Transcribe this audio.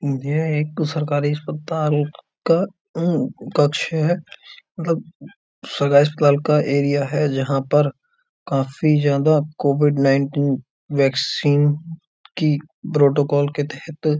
यह एक सरकारी अस्तपताल का कक्ष है। मतलब सरकारी अस्तपताल का एरिया है जहाँ पर काफी ज्यादा कोविड नाइनटीन वैक्सीन की प्रोटोकॉल के तहत --